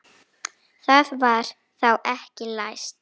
Það var þá ekki læst!